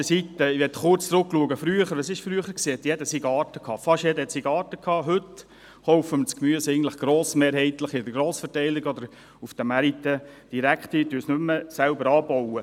Heute kaufen wir das Gemüse eigentlich grossmehrheitlich in der Grossverteilung oder auf den Märkten direkt ein und bauen es nicht mehr selber an.